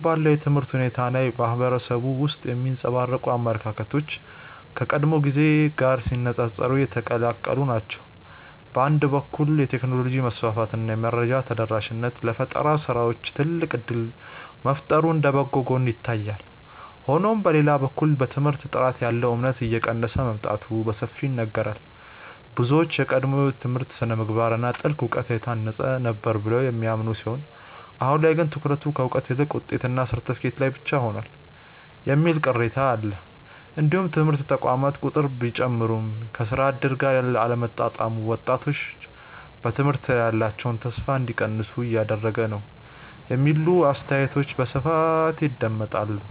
አሁን ባለው የትምህርት ሁኔታ ላይ በማህበረሰቡ ውስጥ የሚንጸባረቁ አመለካከቶች ከቀድሞው ጊዜ ጋር ሲነፃፀሩ የተቀላቀሉ ናቸው። በአንድ በኩል የቴክኖሎጂ መስፋፋት እና የመረጃ ተደራሽነት ለፈጠራ ስራዎች ትልቅ እድል መፍጠሩ እንደ በጎ ጎን ይታያል። ሆኖም በሌላ በኩል በትምህርት ጥራት ላይ ያለው እምነት እየቀነሰ መምጣቱ በሰፊው ይነገራል። ብዙዎች የቀድሞው ትምህርት በስነ-ምግባር እና በጥልቅ እውቀት የታነጸ ነበር ብለው የሚያምኑ ሲሆን አሁን ላይ ግን ትኩረቱ ከእውቀት ይልቅ ውጤትና ሰርተፍኬት ላይ ብቻ ሆኗል የሚል ቅሬታ አለ። እንዲሁም የትምህርት ተቋማት ቁጥር ቢጨምርም ከስራ እድል ጋር አለመጣጣሙ ወጣቶች በትምህርት ላይ ያላቸውን ተስፋ እንዲቀንሱ እያደረገ ነው የሚሉ አስተያየቶች በስፋት ይደመጣሉ።